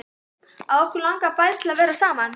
Að okkur langaði bæði til að vera saman.